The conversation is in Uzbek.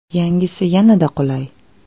Yangisi yanada qulay!.